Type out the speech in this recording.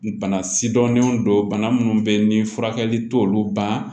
Bana sidɔnnenw don bana minnu bɛ yen ni furakɛli t'olu ban